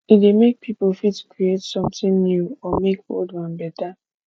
e dey make pipo fit create something new or make old one better